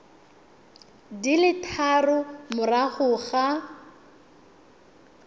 di le tharo morago ga